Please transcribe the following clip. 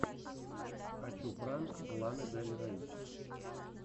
хочу пранк ланы дель рей